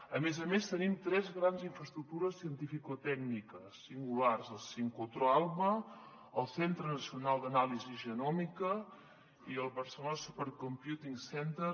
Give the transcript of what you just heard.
a més a més tenim tres grans infraestructures cientificotècniques singulars el sincrotró alba el centre nacional d’anàlisi genòmica i el barcelona supercomputing center